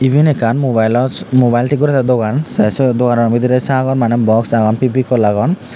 eben ikkan mobile los mobile tik goredy dogan te sot dogano bidire sagor mane box agon fevicol agon.